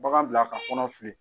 Bagan bila ka kɔnɔ fili.